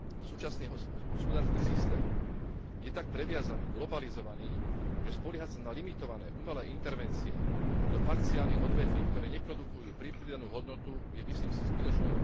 Súčasný hospodársky systém je tak previazaný, globalizovaný, že spoliehať sa na limitované umelé intervencie do parciálnych odvetví, ktoré neprodukujú pridanú hodnotu, je, myslím si, zbytočnou ilúziou.